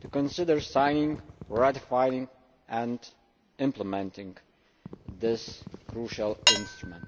to onsider signing, ratifying and implementing' this crucial instrument.